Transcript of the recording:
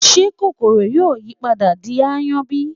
ṣé kòkòrò yóò yí padà di aáyán bí?